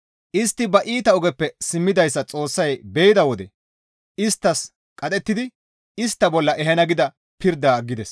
Istti ba iita ogeppe simmidayssa Xoossay be7idi isttas qadhettidi istta bolla ehana gida pirdaa aggides.